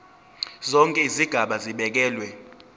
zonke izigaba zibekelwe